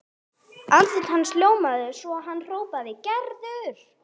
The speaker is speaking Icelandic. Andlit hans ljómaði og hann hrópaði: Gerður!